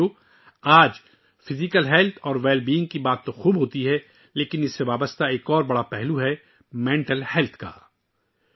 دوستو، آج جسمانی صحت اور تندرستی کے بارے میں بہت باتیں ہو رہی ہیں، لیکن اس سے جڑا ایک اور اہم پہلو ذہنی صحت کا ہے